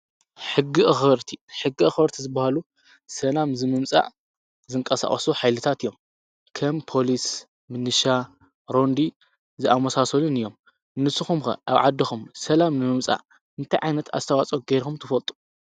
ሕጊ ኣኽበርቲ :-ሕጊ ኣኽበርቲ ዝብሃሉ ሰላም ዝምምፃእ ዝንቀሳቀሱ ሓይልታት እዮም፡፡ ከም ፖሊስ፣ ምንሻ፣ ሮንዲ ዝኣምሳሰሉን እዮም። ንስኹም ኸ ኣብ ዓድኹም ሰላም ንምምፃእ እንታይ ዓይነት ኣስተዋፅኦ ጌርኹም ትፈልጡ?